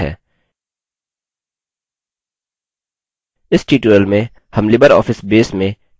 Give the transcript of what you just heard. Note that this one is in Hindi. इस tutorial में हम libreoffice base में tables और relationships के बारे में सीखेंगे